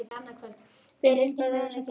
Björn: Líta bæjarbúar á þetta sem áfall?